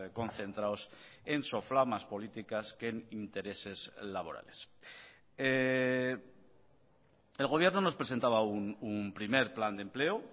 concentrados en soflamas políticas que en intereses laborales el gobierno nos presentaba un primer plan de empleo